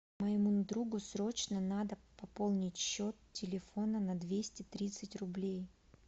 моему другу срочно надо пополнить счет телефона на двести тридцать рублей